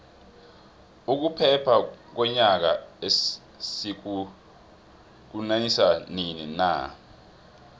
ukuphela konyaka sikuhiukanisa nini na